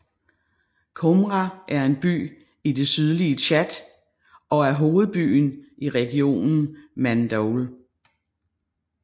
Koumra er en by i det sydlige Tchad og er hovedbyen i regionen Mandoul